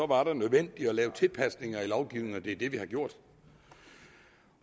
var det nødvendigt at lave tilpasninger i lovgivningen og det er det vi har gjort